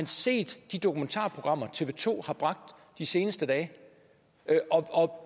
set de dokumentarprogrammer tv to har bragt de seneste dage og om